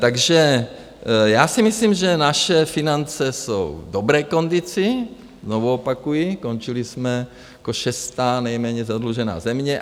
Takže já si myslím, že naše finance jsou v dobré kondici, znovu opakuji, končili jsme jako šestá nejméně zadlužená země.